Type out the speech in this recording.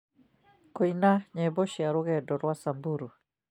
kũina nyĩmbo cia rũgendo rwa samburu